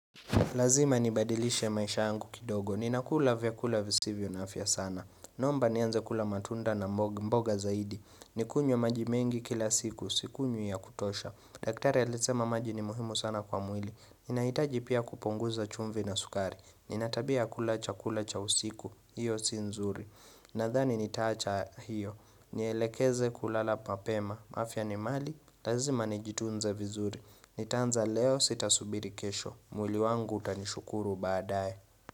Lazima nibadilishe maisha yangu kidogo. Ninakula vyakula visivyo na afya sana. Naomba nianze kula matunda na mboga zaidi. Nikunywe maji mengi kila siku. Sikunywi ya kutosha. Daktari alisema maji ni muhimu sana kwa mwili. Ninahitaji pia kupunguza chumvi na sukari. Ninatabia ya kula chakula cha usiku. Hiyo si nzuri. Nathani nitaacha hiyo. Nielekeze kulala papema. Afya ni mali. Lazima nijitunze vizuri. Nitaanza leo sitasubiri kesho. Mwili wangu utanishukuru badaye.